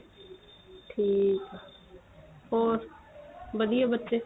ਠੀਕ ਏ ਹੋਰ ਵਧੀਆ ਬੱਚੇ